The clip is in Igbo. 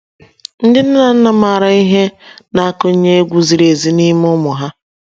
Ndị nne na nna maara ihe na - akụnye egwu ziri ezi n’ime ụmụ ha